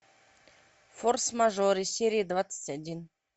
форс мажоры серия двадцать один